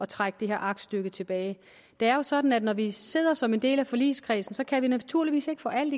trække det her aktstykke tilbage det er jo sådan at når vi sidder som en del af forligskredsen kan vi naturligvis ikke få alt